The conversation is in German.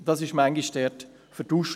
Dies wurde manchmal vertauscht.